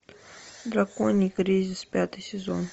драконий кризис пятый сезон